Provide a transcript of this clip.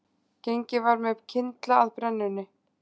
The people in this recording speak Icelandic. Gengið var með kyndla að brennunni